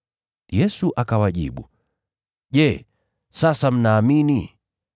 Yesu akawajibu, “Je, sasa mnaamini?